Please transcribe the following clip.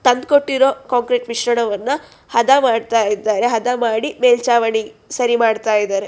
ತಂದ್ಕೊಟ್ಟಿರೊ concrete ಮಿಶ್ರಣವನ್ನು ಹದಾ ಮಾಡ್ತಾ ಇದಾರೆ ಹದ ಮಾಡಿ ಮೇಲ್ಚಾವಣಿ ಸರಿ ಮಾಡ್ತಾ ಇದಾರೆ.